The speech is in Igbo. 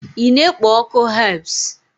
ị na-ekpo ọkụ herbs?